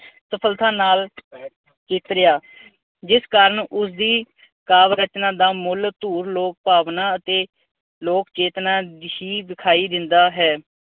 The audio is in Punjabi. ਸਫਲਤਾ ਨਾਲ ਚੇਤਰਿਆ। ਜਿਸ ਕਾਰਨ ਉਸਦੀ ਕਾਵਿ ਰਚਨਾ ਦਾ ਮੁੱਲ ਧੂਰ ਲੋਕ ਭਾਵਨਾ ਅਤੇ ਲੋਕ ਚੇਤਨਾ ਹੀ ਵਿਖਾਈ ਦਿੰਦਾ ਹੈ।